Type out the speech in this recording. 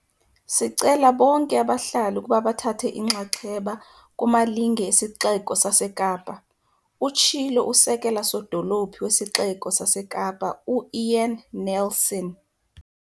"Sicela bonke abahlali ukuba bathathe inxaxheba kumalinge esiXeko saseKapa," utshilo uSekela-Sodolophu wesiXeko saseKapa u-Ian Neilson.